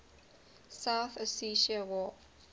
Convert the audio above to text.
south ossetia war